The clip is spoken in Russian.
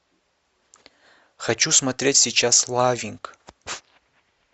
хочу смотреть сейчас лавинг